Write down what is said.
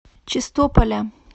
чистополя